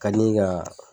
Ka di ka